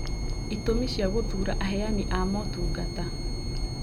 Itũmi cia gũthura aheani a motungata